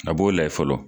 A b'o layɛ fɔlɔ